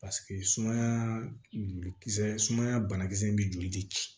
paseke sumaya joli kisɛ sumaya banakisɛ in be joli de ci